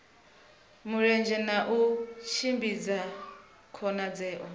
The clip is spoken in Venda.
mulenzhe na u tshimbidza khonadzeo